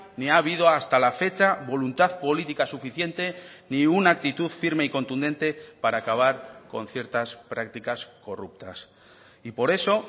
ni ha habido hasta la fecha voluntad política suficiente ni una actitud firme y contundente para acabar con ciertas prácticas corruptas y por eso